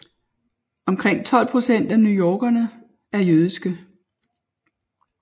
Omkring 12 procent af newyorkerne er jødiske